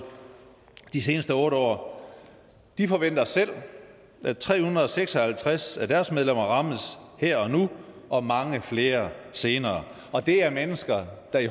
de seneste otte år de forventer selv at tre hundrede og seks og halvtreds af deres medlemmer rammes her og nu og mange flere senere og det er mennesker der i